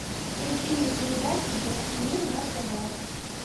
включи мне передачу детский мир на тв